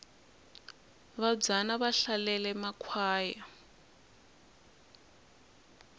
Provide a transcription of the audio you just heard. vabvana va hlalele makhwaya